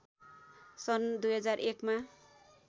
सन् २००१ मा